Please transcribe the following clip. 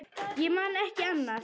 Ég man ekki annað.